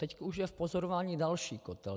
Teď už je v pozorování další kotel.